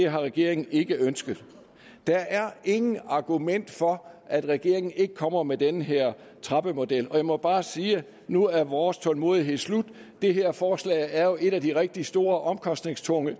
regeringen ikke har ønsket der er intet argument for at regeringen ikke kommer med den her trappemodel og jeg må bare sige at nu er vores tålmodighed slut det her forslag er jo et af de rigtig store omkostningstunge